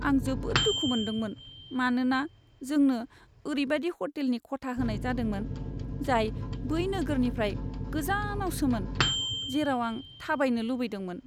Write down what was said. आं जोबोद दुखु मोनदोंमोन, मानोना जोंनो ओरैबायदि ह'टेलनि खथा होनाय जादोंमोन, जाय बै नोगोरनिफ्राय गोजानावसोमोन, जेराव आं थाबायनो लुबैदोंमोन।